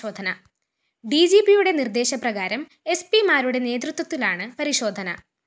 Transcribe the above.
ഡിജിപിയുടെ നിര്‍ദേശപ്രകാരം എസ്പിമാരുടെ നേതൃത്വത്തിലാണ് പരിശോധന